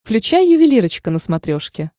включай ювелирочка на смотрешке